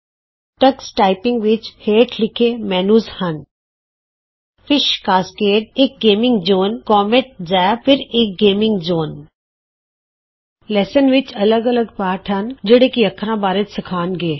Tux typing ਵਿਚ ਹੇਠ ਲਿਖੇ ਮੈਨਯੂ ਹਨ ਫਿਸ਼ ਕਾਸਕੇਡ ਇਕ ਗੇਮਿੱਗ ਜੋਨ ਕੋਮੇਟ ਜ਼ੈਪ ਇਕ ਹੋਰ ਗੇਮਿੱਗ ਜੋਨ ਲੈਸਂਜ਼ ਲੈਸਨਜ਼ ਪਾਠ ਕ੍ਰਮ ਵਿਚ ਅੱਲਗ ਅੱਲਗ ਪਾਠ ਹਨ ਜਿਹੜੇ ਕਿ ਸਾਨੂੰ ਅੱਖਰਾਂ ਬਾਰੇ ਸਿਖਾਉਣਗੇ